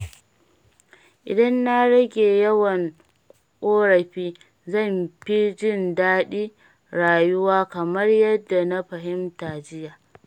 Idan na rage yawan korafi, zan fi jin daɗin rayuwa kamar yadda na fahimta jiya.